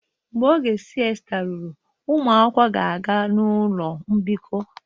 Mgbe oge siesta ruru, ụmụ akwụkwọ ga-aga ụlọ mbikọ